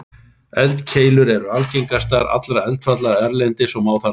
Eldkeilur eru algengastar allra eldfjalla erlendis og má þar til nefna